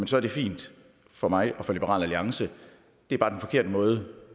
så er det fint for mig og for liberal alliance det er bare den forkerte måde